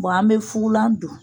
an bɛ fugulan don